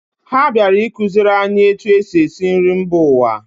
Ha bịara ịkụziri anyị etu e si esi nri mba ụwa